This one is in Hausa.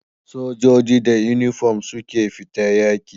Sojoji da inufom suke fita yaki